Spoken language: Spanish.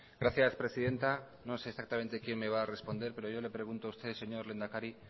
gracias presidenta no sé exactamente quién me va a responder pero yo le pregunto a usted señor lehendakari